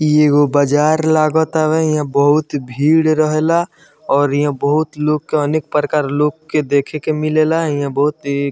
इ एगो बजार लागतावे इहाँ बहुत ही भीड़ रहेला और इहाँ बहुत लोग के अनेक प्रकार के लोग के देख के मिलेला इहाँ बहुत ही --